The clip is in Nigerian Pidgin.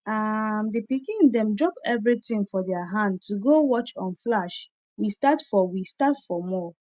um the pikin them drop everything for their hand to go watch on flash we start for we start for mall